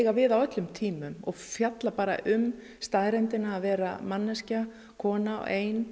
við á öllum tímum og fjalla bara um staðreyndina að vera manneskja kona ein